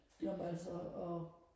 jamen altså og